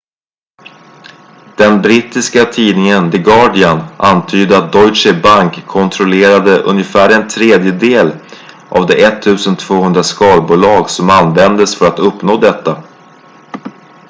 den brittiska tidningen the guardian antydde att deutsche bank kontrollerade ungefär en tredjedel av de 1200 skalbolag som användes för att uppnå detta